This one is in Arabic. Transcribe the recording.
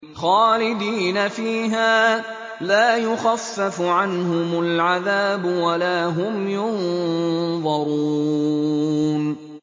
خَالِدِينَ فِيهَا ۖ لَا يُخَفَّفُ عَنْهُمُ الْعَذَابُ وَلَا هُمْ يُنظَرُونَ